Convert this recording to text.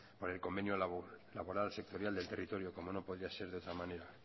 por el convenio laboral sectorial del territorio como no podía ser de otra manera